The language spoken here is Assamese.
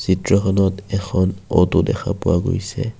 চিত্ৰখনত এখন অ'টো দেখা পোৱা গৈছে।